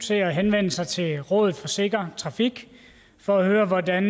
til at henvende sig til rådet for sikker trafik for at høre hvordan